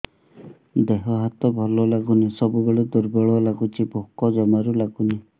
ଦେହ ହାତ ଭଲ ଲାଗୁନି ସବୁବେଳେ ଦୁର୍ବଳ ଲାଗୁଛି ଭୋକ ଜମାରୁ ଲାଗୁନି